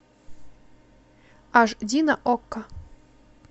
аш ди на окко